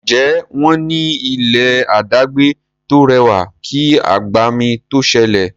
Njé wón ní ilé adagbe to rẹwà kí agbami to sẹlẹ?